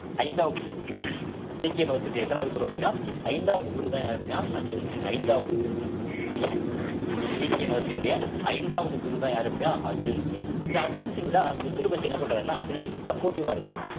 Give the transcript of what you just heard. ஐந்தாவது குரு சீக்கிய மதத்தினுடைய எத்தணாவது குரு அப்படின்னா ஐந்தாவது குருதான் யாரு அப்படின்னா அர்ஜுன் சிங் ஐந்தாவது குரு சீக்கிய மதத்தினுடைய ஐந்தாவது குருதான் யாரு அப்படின்னா அர்ஜுன் சிங் இந்த அர்ஜூன் சிங்தான் குஷ்ருவுக்கு என்ன பண்றாருன்னா பின்னாடி இருந்து supportive ஆ இருக்காரு